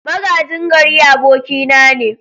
Magajin gari abokina ne.